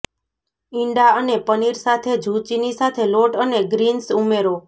ઇંડા અને પનીર સાથે ઝુચીની સાથે લોટ અને ગ્રીન્સ ઉમેરો